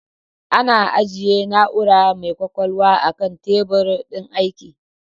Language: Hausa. Ana ajjiye na'ura mai kwakwalwa a kan tebur din aiki